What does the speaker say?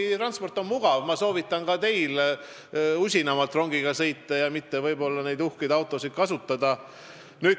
Rongitransport on mugav, ma soovitan ka teil usinamalt rongiga sõita ja mitte võib-olla neid uhkeid autosid kasutada.